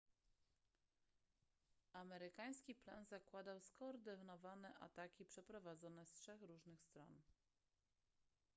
amerykański plan zakładał skoordynowane ataki przeprowadzone z trzech różnych stron